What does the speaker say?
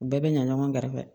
U bɛɛ bɛ ɲa ɲɔgɔn garisɛgɛ